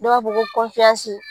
Dɔw ba fɔ ko kɔnfiyansi.